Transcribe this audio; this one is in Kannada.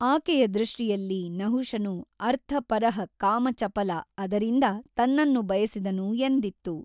ಆಕೆಯ ದೃಷ್ಟಿಯಲ್ಲಿ ನಹುಷನು ಅರ್ಥಪರಃ ಕಾಮಚಪಲ ಅದರಿಂದ ತನ್ನನ್ನು ಬಯಸಿದನು ಎಂದಿತ್ತು.